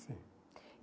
Sim.